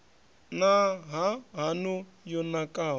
na ha haṋu yo nakaho